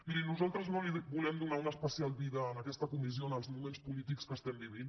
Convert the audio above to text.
miri nosaltres no volem donar una especial vida a aquesta comissió en els moments polítics que vivim